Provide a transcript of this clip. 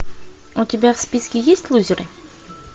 у тебя в списке есть лузеры